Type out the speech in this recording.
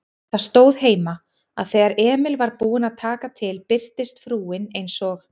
Það stóð heima, að þegar Emil var búinn að taka til birtist frúin eins og